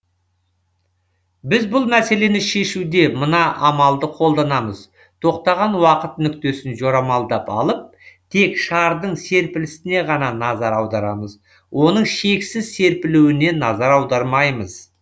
біз бұл мәселені шешуде мына амалды қолданамыз тоқтаған уақыт нүктесін жорамалдап алып тек шардың серпілісіне ғана назар аударамыз оның шексіз серпілуіне назар аудармаймыз